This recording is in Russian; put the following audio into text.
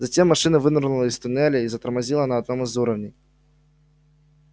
затем машина вынырнула из туннеля и затормозила на одном из уровней